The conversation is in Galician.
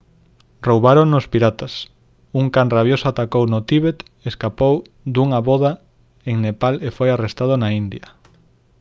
roubárono os piratas un can rabioso atacouno no tíbet escapou dunha voda en nepal e foi arrestado na india